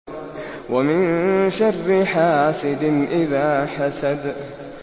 وَمِن شَرِّ حَاسِدٍ إِذَا حَسَدَ